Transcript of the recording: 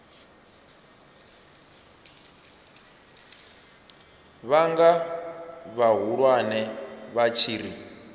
vhunga vhahulwane vha tshi ri